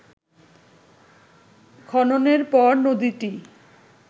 খননের পর নদীটি